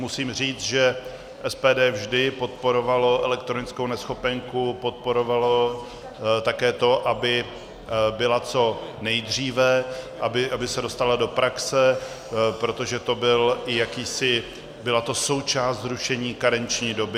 Musím říct, že SPD vždy podporovalo elektronickou neschopenku, podporovalo také to, aby byla co nejdříve, aby se dostala do praxe, protože to byla součást zrušení karenční doby.